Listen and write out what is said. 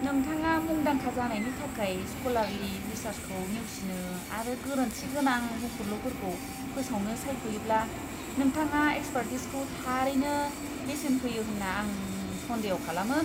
नोंथाङा मुंदांखा जानायनि थाखाय स्क'लारलि रिसार्सखौ नेवसिनो आरो गोरोन्थिगोनां बुंफुरलुफोरखौ फोसावनो सायख'योब्ला नोंथाङा एक्सपार्टिजखौ थारैनो बेसेन होयो होनना आं सन्देह' खालामो!